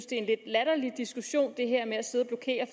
det er en lidt latterlig diskussion det her med at sidde